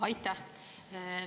Aitäh!